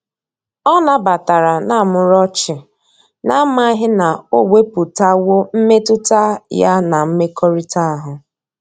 Ọ na batara na muru ochi, na amaghi na o weputawo mmetụta ya na mmekorita ahu.